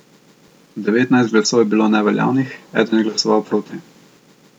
Devetnajst glasov je bilo neveljavnih, eden je glasoval proti.